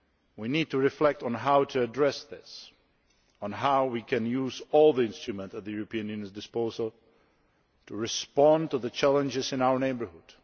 We need to reflect on how to address this, and on how we can use all the instruments at the European Union's disposal to respond to the challenges in our neighbourhood.